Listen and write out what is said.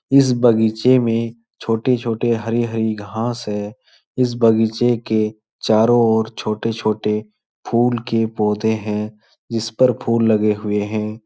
इस बगीचे में छोटे-छोटे हरी-हरी घास है। इस बगीचे के चारों ओर छोटे-छोटे फूल के पौधे हैं जिस पर फूल लगे हुए हैं।